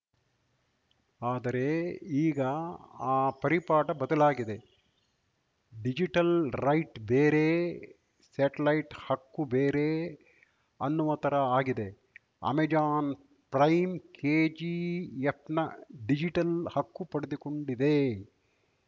ಆದರೆ ಈಗ ಆ ಪರಿಪಾಠ ಬದಲಾಗಿದೆ ಡಿಜಿಟಲ್‌ ರೈಟ್‌ ಬೇರೆ ಸ್ಯಾಟಲೈಟ್‌ ಹಕ್ಕು ಬೇರೆ ಅನ್ನುವ ಥರ ಆಗಿದೆ ಅಮೆಜಾನ್‌ ಪ್ರೈಮ್‌ ಕೆಜಿಎಫ್‌ನ ಡಿಜಿಟಲ್‌ ಹಕ್ಕು ಪಡೆದುಕೊಂಡಿದೆ